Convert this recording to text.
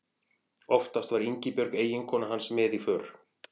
Oftast var Ingibjörg eiginkona hans með í för.